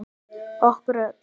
Okkur öll.